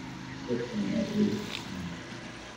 Dhadhkan way ikuqosleyn.